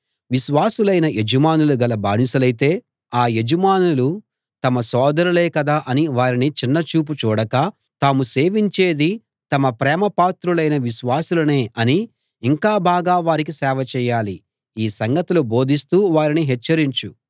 విశ్వాసులైన యజమానులు గల బానిసలైతే ఆ యజమానులు తమ సోదరులే కదా అని వారిని చిన్న చూపు చూడక తాము సేవించేది తమ ప్రేమ పాత్రులైన విశ్వాసులనే అని ఇంకా బాగా వారికి సేవ చేయాలి ఈ సంగతులు బోధిస్తూ వారిని హెచ్చరించు